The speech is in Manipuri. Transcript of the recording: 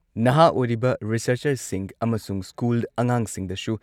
ꯅꯍꯥ ꯑꯣꯏꯔꯤꯕ ꯔꯤꯁꯔꯁꯆꯔꯁꯤꯡ ꯑꯃꯁꯨꯡ ꯁ꯭ꯀꯨꯜ ꯑꯉꯥꯡꯁꯤꯡꯗꯁꯨ